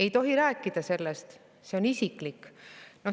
Ei tohi rääkida sellest, see on isiklik.